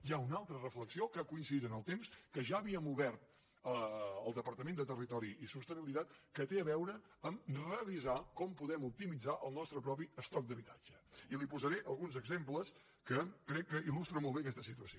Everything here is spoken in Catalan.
hi ha una altra reflexió que ha coincidit en el temps que havíem obert al departament de territori i sostenibilitat que té a veure amb revisar com podem optimitzar el nostre propi estoc d’habitatge i li’n posaré alguns exemples que crec que ilta situació